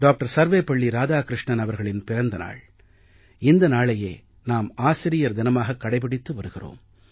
சர்வேபள்ளி இராதாகிருஷ்ணனின் பிறந்த நாள் இந்த நாளையே நாம் ஆசிரியர் தினமாகக் கடைபிடித்து வருகிறோம்